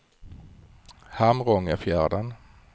Hamrångefjärden